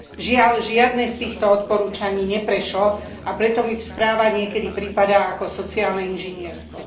Žiaľ, žiadne z týchto odporúčaní neprešlo, a preto mi správa niekedy pripadá ako sociálne inžinierstvo.